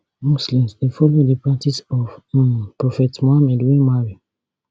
muslims dey follow di practice of um prophet mohammed wey marry